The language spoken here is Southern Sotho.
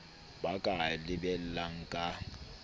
ba ka a lebellang ka